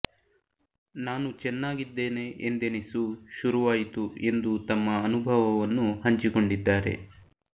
ನಾನು ಚೆನ್ನಾಗಿದ್ದೇನೆ ಎಂದೆನಿಸು ಶುರುವಾಯಿತು ಎಂದು ತಮ್ಮ ಅನುಭವವನ್ನು ಹಂಚಿಕೊಂಡಿದ್ದಾರೆ